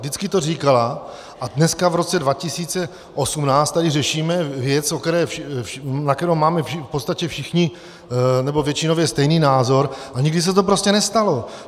Vždycky to říkala a dneska, v roce 2018, tady řešíme věc, na kterou máme v podstatě všichni, nebo většinově stejný názor, a nikdy se to prostě nestalo.